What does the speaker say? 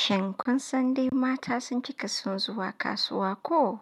Shin kun san dai mata sun ci kason zuwa kasuwa ko?